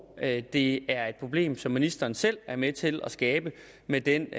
og at det er et problem som ministeren selv er med til at skabe med den